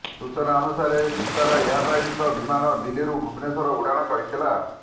ସୂଚନା ଅନୁସାରେ ଭିସ୍ତାରା ଏୟାରଲାଇନ୍ସର ବିମାନ ଦିଲ୍ଲୀରୁ ଭୁବନେଶ୍ବର ଉଡ଼ାଣ କରିଥିଲା